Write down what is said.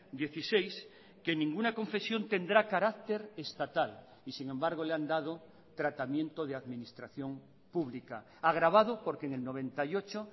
dieciséis que en ninguna confesión tendrá carácter estatal y sin embargo le han dado tratamiento de administración pública agravado porque en el noventa y ocho